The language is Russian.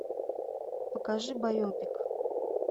покажи байопик